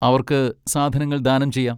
അവർക്ക് സാധനങ്ങൾ ദാനം ചെയ്യാം.